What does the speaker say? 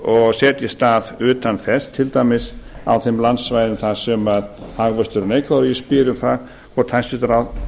og setjist að utan þess til dæmis á þeim landsvæðum þar sem hagvöxtur er neikvæður og ég spyr um það hvort hæstvirtur